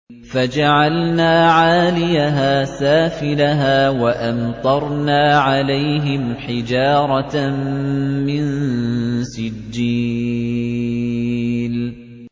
فَجَعَلْنَا عَالِيَهَا سَافِلَهَا وَأَمْطَرْنَا عَلَيْهِمْ حِجَارَةً مِّن سِجِّيلٍ